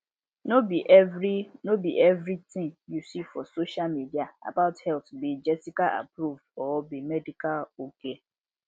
no be every no be every thing you see for social media about health be jessicaapproved or be medical ok